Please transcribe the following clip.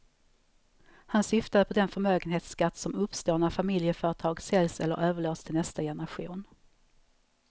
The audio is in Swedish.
Han syftade på den förmögenhetsskatt som uppstår när familjeföretag säljs eller överlåts till nästa generation.